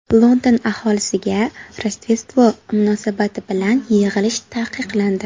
London aholisiga Rojdestvo munosabati bilan yig‘ilish taqiqlandi.